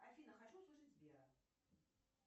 афина хочу услышать сбера